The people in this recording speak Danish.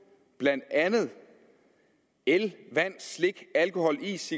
blandt andet el vand slik alkohol is